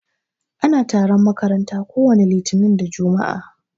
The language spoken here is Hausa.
Ana taron makaranta ko wani litinin da jumua'a.